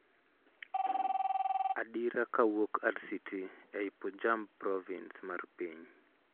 adira kawuok RCT ei Punjab province mar piny